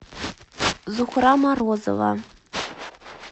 зухра морозова